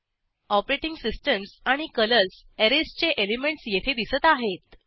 operating systems आणि colours ऍरेजचे elements येथे दिसत आहेत